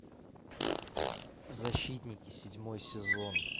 защитники седьмой сезон